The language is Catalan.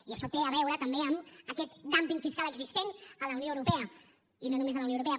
i això té a veure també amb aquest dúmping fiscal existent a la unió europea i no només a la unió europea